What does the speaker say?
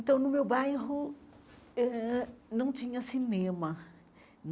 Então no meu bairro eh ãh não tinha cinema.